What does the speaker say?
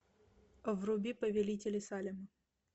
вруби повелители салема